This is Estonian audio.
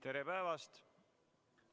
Tere päevast!